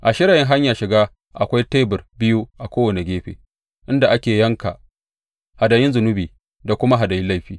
A shirayin hanyar shiga akwai tebur biyu a kowane gefe, inda ake yankan hadayun ƙonawa, hadayun zunubi da kuma hadayun laifi.